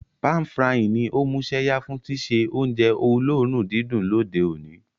Pan-frying ní o músẹ́yá fun síse ounje olóòrun didùn lóde oní